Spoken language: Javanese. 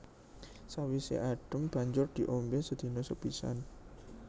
Sawisé adhem banjur diombé sedina sepisan